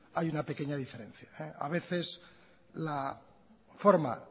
hay una pequeña diferencia a veces la forma